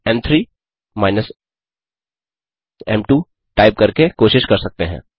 आप एम3 minus M two type करके कोशिश कर सकते हैं